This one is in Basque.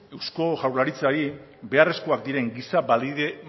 eusko jaurlaritzari beharrezkoak diren giza